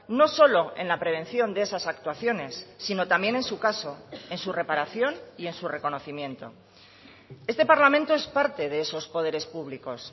no solo en la prevención de esas actuaciones sino también en su caso en su reparación y en su reconocimiento este parlamento es parte de esos poderes públicos